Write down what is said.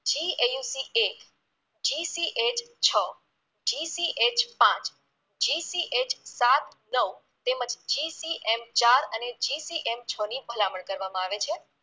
GAUCeightGCH છ GCH પાંચ GCH સાત નવ તેમજ GCM ચાર અને GCM છ ની ભલામણ કરવામાં આવે છે